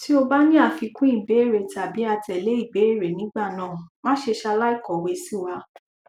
ti o ba ni afikun ibeere tabi atele ibeere nigbana mase salai kowe siwa